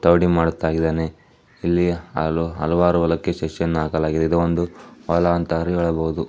ಮಾದಿತಾಗಿದಾನೆ ಇಲ್ಲಿ ಹಲವಾರು ಹೊಲಕ್ಕೆ ಸಸಿಯನ್ನು ಹಾಕಲಾಗಿದೆ ಇದು ಒಂದು ಹೊಲ ಅಂತ ಹೇಳಬಹುದು.